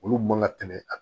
Olu man ka tɛmɛ a